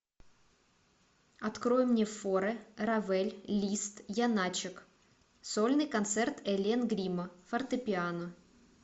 открой мне форе равель лист яначек сольный концерт элен гримо фортепиано